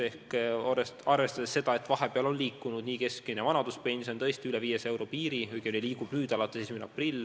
Keskmine vanaduspension on tõusnud ja ulatub alates 1. aprillist tõesti üle 500 euro piiri.